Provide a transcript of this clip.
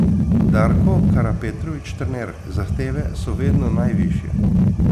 Darko Karapetrović, trener: 'Zahteve so vedno najvišje.